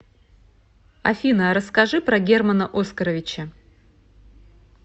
афина а расскажи про германа оскаровича